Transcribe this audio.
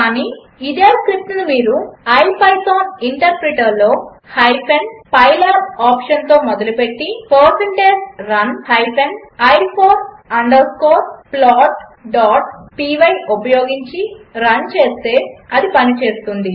కాని ఇదే స్క్రిప్ట్ను మీరు మీ ఇపిథాన్ ఇంటర్ప్రిటర్లో హైఫెన్ పైలాబ్ ఆప్షన్తో మొదలుపెట్టి160run i ఫోర్ అండర్ స్కోర్ plotపై ఉపయోగించి రన్ చేస్తే అది పనిచేస్తుంది